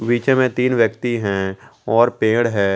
बीच में तीन व्यक्ति हैं और पेड़ है।